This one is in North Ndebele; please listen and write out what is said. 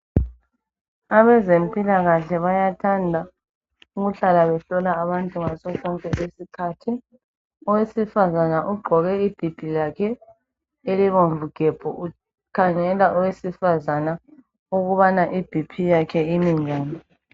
Abezempilakahle bayathanda ukuhlala behlola abantu ngaso sonke isikhathi owesifazana ogqoke ibhibhi lakhe elibomvu gebhu ukhangela owesifazana ukubana ibp yakhe imi njani.